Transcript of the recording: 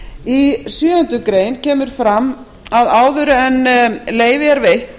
í sjöundu grein kemur fram að áður en leyfi er veitt